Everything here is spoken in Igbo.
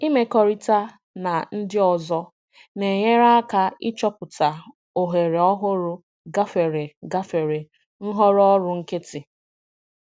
Ịmekọrịta na ndị ọzọ na-enyere aka ịchọpụta ohere ọhụrụ gafere gafere nhọrọ ọrụ nkịtị.